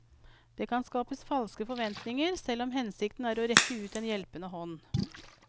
Det kan skape falske forventninger, selv om hensikten er å rekke ut en hjelpende hånd.